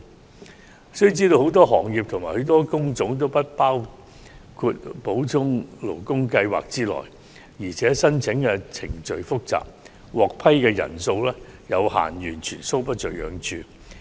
我們須知道，很多行業和工種都不包括在補充勞工計劃之內，而且申請程序複雜，獲批人數有限，完全搔不着癢處。